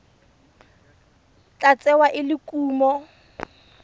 tla tsewa e le kumo